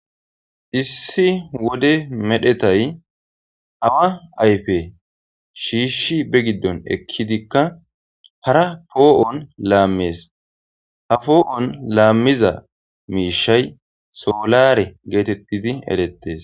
Issi wode medhetay hawa ayfe shiishshi be giddon ekkidikka hara poo7on laammees ha poo7on laammiza miishay soolare geetettidi erettes.